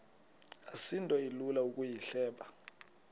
asinto ilula ukuyihleba